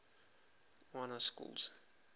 y na schools